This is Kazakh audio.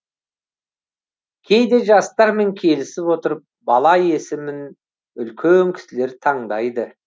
кейде жастармен келісе отырып бала есімін үлкен кісілер таңдайды